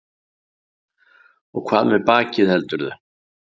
Og hvað með bakið, heldurðu?